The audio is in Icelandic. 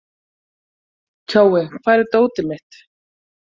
Kjói, hvar er dótið mitt?